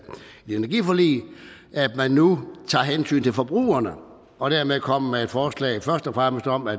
energiforliget at man nu tager hensyn til forbrugerne og dermed kommer med et forslag først og fremmest om at